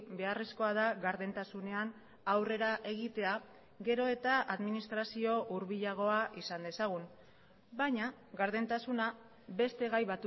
beharrezkoa da gardentasunean aurrera egitea gero eta administrazio hurbilagoa izan dezagun baina gardentasuna beste gai